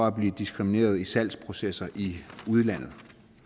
at blive diskrimineret i salgsprocesser i udlandet